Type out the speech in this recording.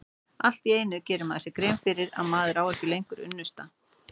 Allt í einu gerir maður sér grein fyrir að maður á ekki lengur unnusta.